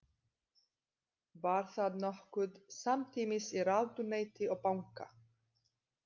Var það nokkuð samtímis í ráðuneyti og banka.